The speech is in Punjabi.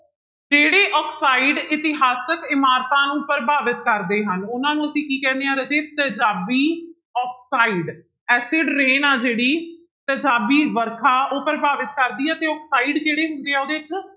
ਕਿਹੜੇ ਆਕਸਾਇਡ ਇਤਿਹਾਸਕ ਇਮਾਰਤਾਂ ਨੂੰ ਪ੍ਰਭਾਵਿਤ ਕਰਦੇ ਹਨ ਉਹਨਾਂ ਨੂੰ ਅਸੀਂ ਕੀ ਕਹਿੰਦੇ ਹਾਂ ਰਾਜੇ ਤੇਜਾਬੀ ਆਕਸਾਇਡ acid rain ਆ ਜਿਹੜੀ ਤੇਜਾਬੀ ਵਰਖਾ ਉਹ ਪ੍ਰਭਾਵਿਤ ਕਰਦੀ ਹੈ ਤੇ ਆਕਸਾਇਡ ਜਿਹੜੇ ਹੁੰਦੇ ਆ